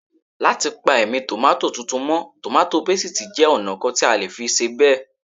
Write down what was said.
Láti pa ẹ̀mí Tòmáátì tútù mọ́, tòmáátì pásítìì jẹ́ ọ̀nà kan tí a lè fi ṣe bẹ́ẹ̀.